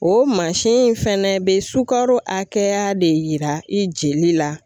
O mansin in fɛnɛ bɛ sukaro hakɛya de yira i jeli la.